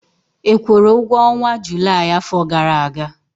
ị kwụrụ ụgwọ ọnwa Julaị afọ gara aga?